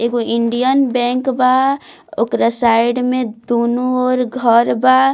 एगो Indian bank बा ओकरा साइड में दूनो ओर घर बा।